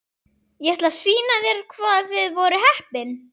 Ég ætla að sýna þér hvað þið voruð heppin.